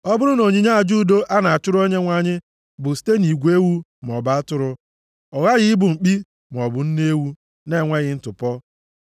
“ ‘Ọ bụrụ na onyinye aja udo a na-achụrụ Onyenwe anyị bụ site nʼigwe ewu maọbụ atụrụ, ọ ghaghị ịbụ mkpi maọbụ nne ewu na-enweghị ntụpọ.